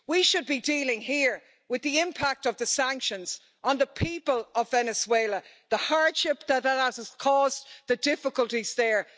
We should be dealing here with the impact of the sanctions on the people of Venezuela, the hardship that that has caused, the difficulties there.